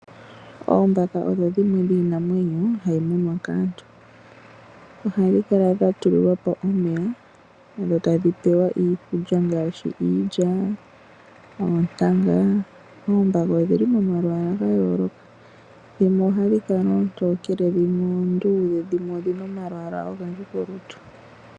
Oombaka odho dhimwe dhomiinanwenyo hayi munwa kaantu ohadhi kala dha tulilwa po omeya dho tadhi pewa iikulya ngaashi iilya noontanga. Oombaka odhi li momalwaala ga yooloka dhimwe ohadhi kala oontokele dhimwe oondudhe na dhimwe odhi na omalwaala ogendji kolutu.